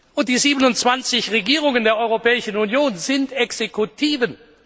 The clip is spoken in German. Und die 27 Regierungen der Europäischen Union sind Exekutiven.